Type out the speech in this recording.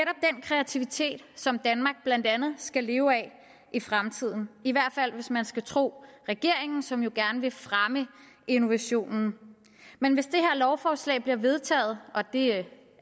kreativitet som danmark blandt andet skal leve af i fremtiden i hvert fald hvis man skal tro regeringen som jo gerne vil fremme innovationen men hvis det her lovforslag bliver vedtaget og det